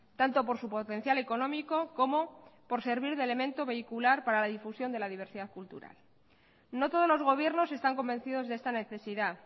tanto por su potencial económico como por servir de elemento vehicular para la difusión de la diversidad cultural no todos los gobiernos están convencidos de esta necesidad